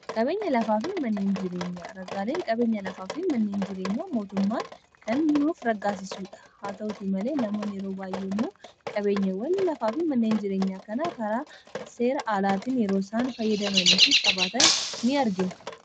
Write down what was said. qabeenya lafaa fi manneen jireenyaa ragaaleen qabeenya lafaa fi manneen jireenyaa mootummaan kan nuuf raggaasisuudha haa ta'uti malee namoon yeroo baay'ee immoo qabeenya wal lafaa fi manneen jireenyaa kanaa karaa seera aalaatiin yeroo saan fayyadamanii fi qabaatan ni argina